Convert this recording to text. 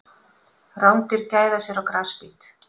Rándýr gæða sér á grasbít.